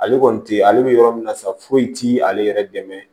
Ale kɔni tɛ ye ale bɛ yɔrɔ min na sa foyi ti ale yɛrɛ dɛmɛ